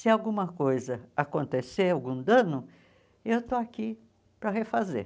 Se alguma coisa acontecer, algum dano, eu estou aqui para refazer.